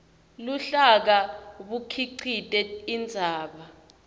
luhlaka bukhicite indzaba